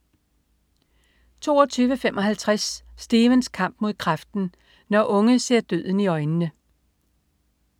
22.55 Stevens kamp mod kræften. Når unge ser døden i øjnene